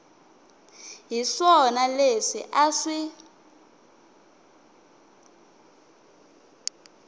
hi swona leswi a swi